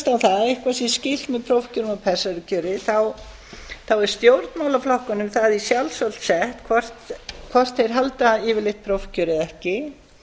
að eitthvað sé skylt með prófkjörum og persónukjöri þá er stjórnmálaflokkunum það í sjálfsvald sett hvort þeir halda yfirleitt prófkjör eða ekki